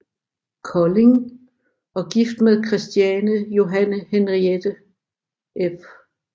Kolding og gift med Christiane Johanne Henriette f